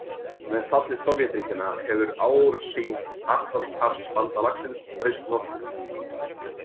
Með falli Sovétríkjanna hefur ásýnd Atlantshafsbandalagsins breyst nokkuð.